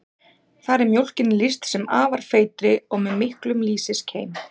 Þar er mjólkinni lýst sem afar feitri og með miklum lýsiskeim.